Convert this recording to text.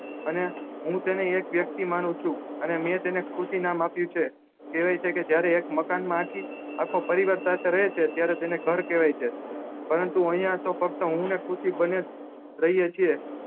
અને હું તને એક વ્યક્તિ માનું છું અને તેનેજ એને ખુશી નામ આપ્યું છે કેહવાય છે કે જયારે એક મકાન માં આખો પરિવાર સાથે રહે છે ત્યારે તેને ઘર કેહવાય છે પરંતુ અયીયા તો ફક્ત હું ને ખુશી બન્ને રહીએ છે